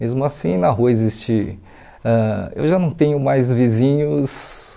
Mesmo assim, na rua existe ãh... Eu já não tenho mais vizinhos...